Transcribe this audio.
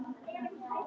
Ég skil þig ekki.